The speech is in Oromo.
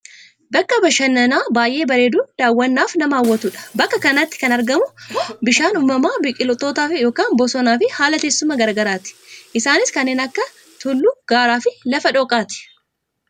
Bakka bashannanaa baayyee bareeduun daawwannaaf nama hawwatudha. Bakka kanatti kan argamu ammoo bishaan uummamaa, biqiltoota yookaan bosonaa fi haala teessuma gara garaati, isaanis kanneen akka tulluu, gaaraafi lafa dhooqaa ti.